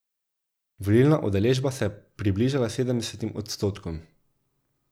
Volilna udeležba se je približala sedemdesetim odstotkom.